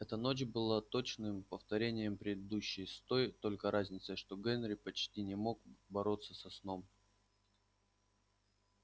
эта ночь была точным повторением предыдущей с той только разницей что генри почти не мог бороться со сном